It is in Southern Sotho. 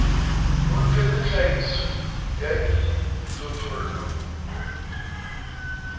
o loketseng tlhahiso ya dijothollo